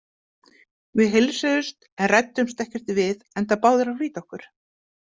Við heilsuðumst en ræddumst ekkert við enda báðir að flýta okkur.